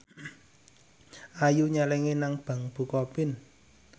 Ayu nyelengi nang bank bukopin